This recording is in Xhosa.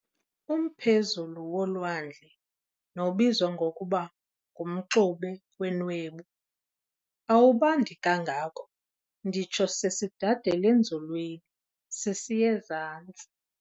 Umphezulu wolwandle, nobizwa ngokuba ngu-"mxube wenwebu", awubandi kangako nditsho sesidad'elenzulwini sisiy'ezantsi.